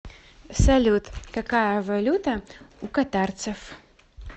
салют какая валюта у катарцев